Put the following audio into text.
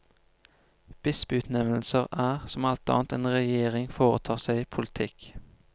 Bispeutnevnelser er, som alt annet en regjering foretar seg, politikk.